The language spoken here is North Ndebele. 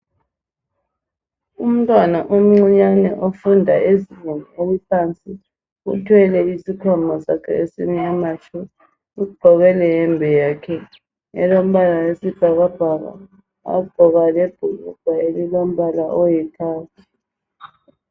Umntwana omncinyane ofunda ezingeni eliphansi uthwele isikhwama sakhe esimnyama tshu ugqoke leyembe yakhe elobala wesibhakabhaka wagqoka lebhulugwe elilombala oyikhakhi